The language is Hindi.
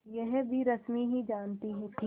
यह भी रश्मि ही जानती थी